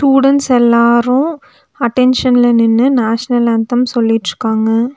Students எல்லாரு அட்டென்ஷன்ல நின்னு நேஷனல் ஆன்தம் சொல்லிட்ருக்காங்க.